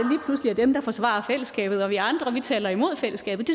er dem der forsvarer fællesskabet og vi andre taler imod fællesskabet